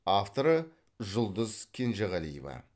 авторы жұлдыз кенжегалиева